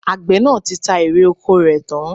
Àgbẹ̀ náà ti ta èrè ọkọ rẹ̀ tán